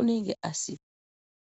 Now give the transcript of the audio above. unenge asi.